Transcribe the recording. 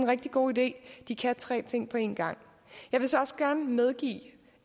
rigtig god idé de kan tre ting på en gang jeg vil så også gerne medgive